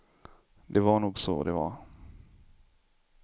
Det var nog så det var.